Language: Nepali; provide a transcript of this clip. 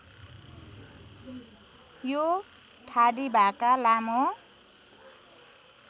यो ठाडीभाका लामो